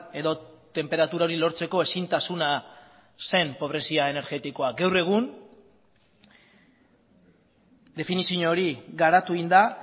edo tenperatura hori lortzeko ezintasuna zen pobrezia energetikoa gaur egun definizio hori garatu egin da